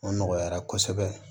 O nɔgɔyara kosɛbɛ